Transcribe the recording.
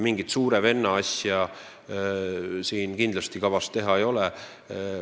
Mingit suure venna asja siin kindlasti kavas teha ei ole.